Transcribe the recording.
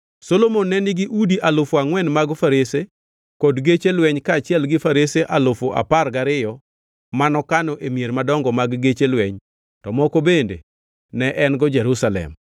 Solomon ne nigi udi alufu angʼwen mag farese kod geche lweny kaachiel gi farese alufu apar gariyo manokano e mier madongo mag geche lweny to moko bende ne en-go Jerusalem.